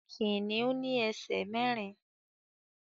Kìnnìún ní ẹsẹ̀ mẹ́rin